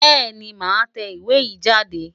Bẹ́ẹ̀ni màá tẹ ìwé yìí jáde.